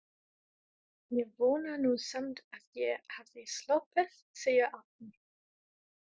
Ég vona nú samt að ég hafi sloppið, segir Árný.